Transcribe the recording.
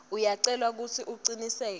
uyacelwa kutsi ucinisekise